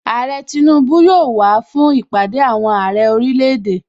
Àrẹ Tinubu yóò wàá fún Ìpàdé àwọn Àrẹ orílẹ̀ èdè.